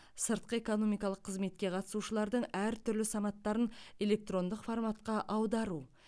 сыртқы экономикалық қызметке қатысушылардың әртүрлі санаттарын электрондық форматқа аудару